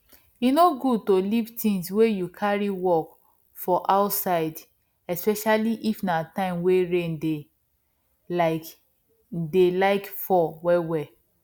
e no good to leave things wey you carry work for outsideespecially if na time wey rain dey like dey like fall well well